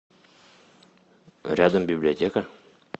рядом библиотека